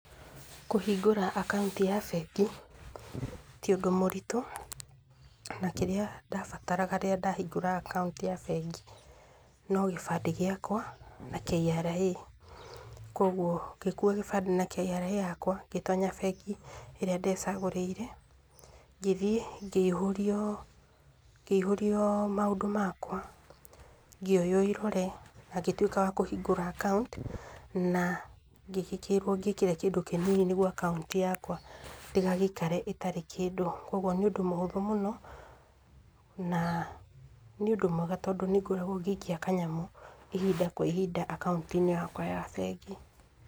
Kũhingũra akaũnti ya bengi ti ũndũ mũritũ, na kĩrĩa ndarabataraga ngĩhingũra akaũnti ya bengi no gĩbandĩ gĩakwa na KRA kwoguo ngĩkua kĩbandĩ na KRA yakwa ngĩtonya bengi ĩrĩa ndecagũrĩire, ngĩthiĩ ngĩihũrio, ngĩihũrio maũndũ makwa, ngĩoywo irore na ngĩtuĩka wa kũhingũra akaũnti na ngĩgĩkĩra kĩndũ kĩnini nĩguo akaũnti yakwa ndĩgagĩikare ĩtarĩ kĩndũ nĩ ũndũ mũhũthũ mũno na nĩ ũndũ mwega nĩ ngoragwo ngĩikia kanyamũ ihinda kwa ihinda akaũnti yakwa ya bengi.